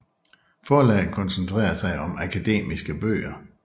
Forlaget koncentrerer sig om akademiske bøger